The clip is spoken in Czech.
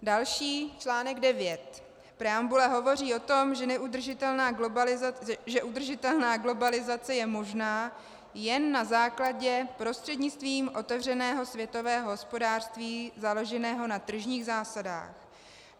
Další článek, 9, preambule hovoří o tom, že udržitelná globalizace je možná jen na základě - prostřednictvím otevřeného světového hospodářství založeného na tržních zásadách.